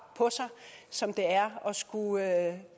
på sig som det er at skulle